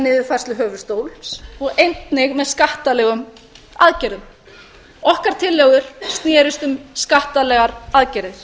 niðurfærslu höfuðstóls og einnig með skattalegum aðgerðum okkar tillögur snerust um skattalegar aðgerðir